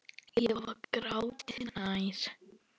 Ég var gráti nær.